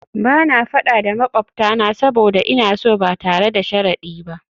Ba na fada da makwabtana saboda ina so ba tare da sharadi ba